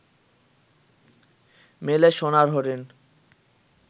মেলে সোনার হরিণ